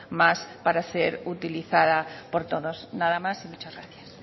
más para ser utilizada por todos nada más y muchas gracias